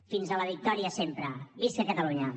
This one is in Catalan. fins a la victòria sempre visca catalunya